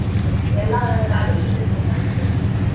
ಎಲ್ಲಾ ರಾಡಿ ಹಿಡೀತೈತ್ ಮಕ .